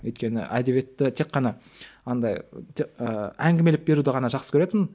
өйткені әдебиетті тек қана андай ыыы ыыы әңгімелеп беруді ғана жақсы көретінмін